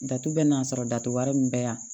Datugu bɛɛ n'a sɔrɔ datu wari min bɛ yan